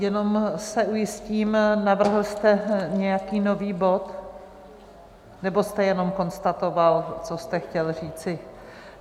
Jenom se ujistím, navrhl jste nějaký nový bod, nebo jste jenom konstatoval, co jste chtěl říci?